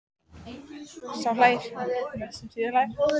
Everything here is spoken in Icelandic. Sá hlær best sem síðast hlær!